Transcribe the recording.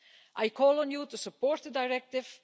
I call on you to support the Directive.